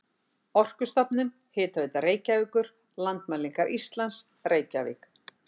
Orkustofnun, Hitaveita Reykjavíkur, Landmælingar Íslands, Reykjavík.